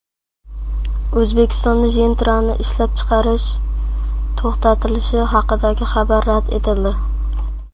O‘zbekistonda Gentra’ni ishlab chiqarish to‘xtatilishi haqidagi xabar rad etildi.